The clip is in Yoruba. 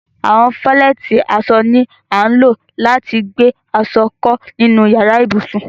Àwọn falẹ̀tí àṣọ ni à ńlọ̀ lati gbẹ aṣọ̀ kọ ninu yàrà-íbusùn.